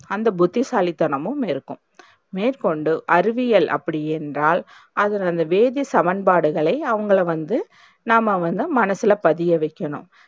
அந்த புத்திசாலித்தனமும் இருக்கும் மேற்கொண்டு அறிவியல் அப்டியென்றால் அதில் அந்த வேதிச்சமன்பாடுகளை அவங்கள வந்து நாம்ம வந்து மனசுல பதியவைக்கணும்.